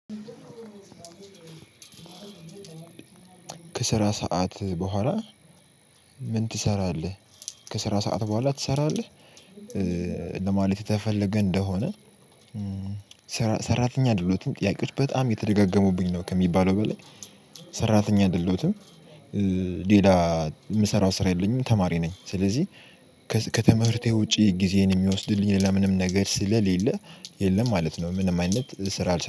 "ከስራ ሰዓት በኋላ ምን ትሰራለህ?" "ከስራ ሰዓት በኋላ ትሰራለህ?" ለማለት የተፈለገ እንደሆነ ሰራተኛ ድሎትም ጥያቄዎች በጣም እየተደጋገሙብኝ ነው ከሚባለው በላይ ሰራተኛ ድሎትም ሌላ የምሰራው ሰራ የለኝም ተማሪ ነኝ። ስለዚህ ከትምህርቴ ውጪ ጊዜዬን የሚወስድብኝ ነገር ስለለ የለም ማለት ነው። ምንም አይነት ሰራ አልሰራም።